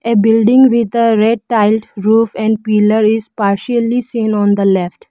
a building with the red tiles roof and pillar is partially seen on the left.